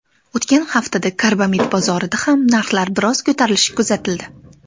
O‘tgan haftada karbamid bozorida ham narxlar biroz ko‘tarilishi kuzatildi.